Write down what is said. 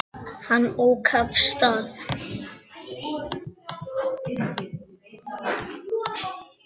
Hann ók af stað.